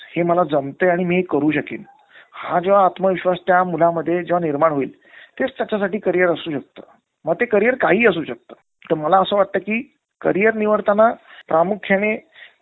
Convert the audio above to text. अं कशा आहे? तुम्ही.